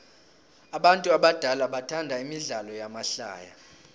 abantu abadala bathanda imidlalo yamahlaya